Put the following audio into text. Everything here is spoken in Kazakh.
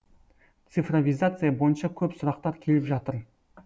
цифровизация бойынша көп сұрақтар келіп жатыр